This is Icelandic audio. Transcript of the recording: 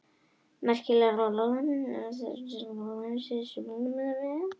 Merkingar gefa mjög mikilvægar upplýsingar meðal annars um endurheimt ýmissa farfugla á vetrarstöðvum.